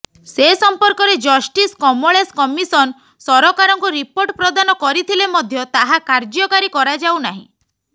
ସେ ସମ୍ପର୍କରେ justice Kamlesh commission ସରକାରଙ୍କୁ ରିପୋର୍ଟ ପ୍ରଦାନ କରିଥିଲେ ମଧ୍ୟ ତାହା କାର୍ଯ୍ୟକାରୀ କରାଯାଉନାହିଁ